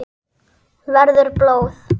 Verður blóð.